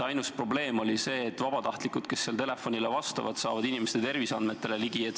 Ainus probleem on nagu see, et vabatahtlikud, kes seal telefonile vastavad, saavad inimeste terviseandmetele ligi.